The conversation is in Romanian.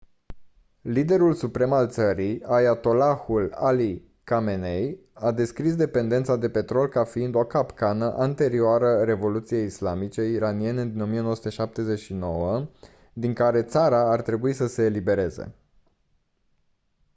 liderul suprem al țării ayatollahul ali khamenei a descris dependența de petrol ca fiind «o capcană» anterioară revoluției islamice iraniene din 1979 din care țara ar trebui să se elibereze